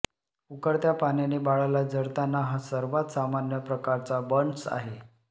उकळत्या पाण्याने बाळाला जळताना हा सर्वात सामान्य प्रकारचा बर्न्स आहे